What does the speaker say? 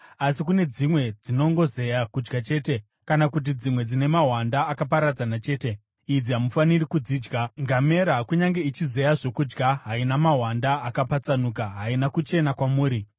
“ ‘Asi kune dzimwe dzinongozeya kudya chete, kana kuti dzimwe dzine mahwanda akaparadzana chete, idzi hamufaniri kudzidya. Ngamera, kunyange ichizeya zvokudya, haina mahwanda akapatsanuka; haina kuchena kwamuri.